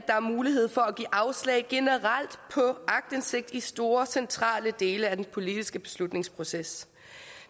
der er mulighed for at give afslag generelt på aktindsigt i store centrale dele af den politiske beslutningsproces